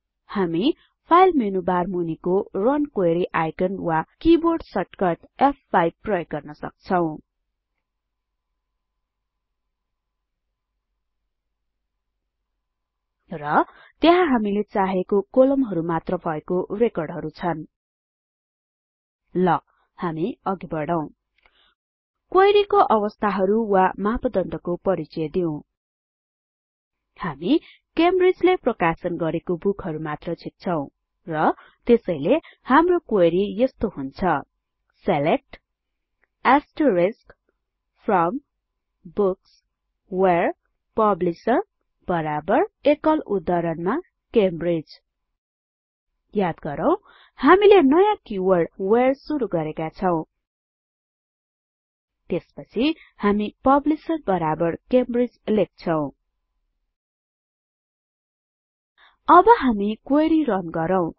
हामी file menubar मूनिको run query icon वा किबोर्ड सर्टकट फ5 प्रयोग गर्न सक्छौं र त्यहाँ हामीले चाहेको कोलमहरु मात्र भएको रेकर्डहरु छन् ल हामी अघि बढौं क्वेरी को अवस्थाहरु वा मापदण्डको परिचय दिउँ हामी क्यामब्रिज ले प्रकाशन गरेको बूकहरु मात्र झिक्छौँ र त्यसैले हाम्रो क्वेरी यस्तो हुन्छ select from books where publisher Cambridge याद गरौँ हामीले नयाँ किवर्ड व्हेरे सुरु गरेका छौं त्यसपछि हामी पब्लिशर बराबर क्यामब्रिज लेख्छौं अब हामी क्वेरी रन गरौँ